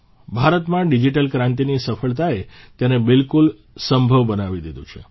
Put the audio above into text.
ભારતમાં ડીજીટલ ક્રાંતિની સફળતાએ તેને બિલકુલ સંભવ બનાવી દીધું છે